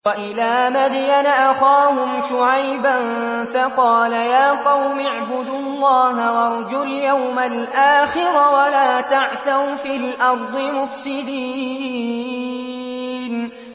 وَإِلَىٰ مَدْيَنَ أَخَاهُمْ شُعَيْبًا فَقَالَ يَا قَوْمِ اعْبُدُوا اللَّهَ وَارْجُوا الْيَوْمَ الْآخِرَ وَلَا تَعْثَوْا فِي الْأَرْضِ مُفْسِدِينَ